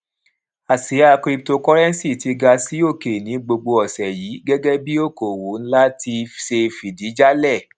àsía cryptocurrency ti ga sí òkè ní gbogbo òsè yìí gégé bí i okòwò nlá ti ṣe fìdí jálè